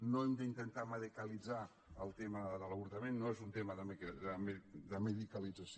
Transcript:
no hem d’intentar medicalitzar el tema de l’avortament no és un tema de medicalització